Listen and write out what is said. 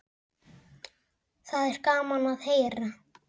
Það er gaman að heyra.